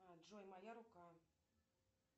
джой моя рука